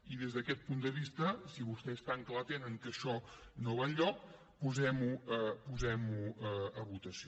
i des d’aquest punt de vista si vostès tan clar tenen que això no va enlloc posem ho a votació